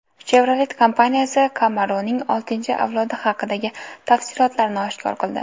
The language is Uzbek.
Chevrolet kompaniyasi Camaro‘ning oltinchi avlodi haqidagi tafsilotlarni oshkor qildi .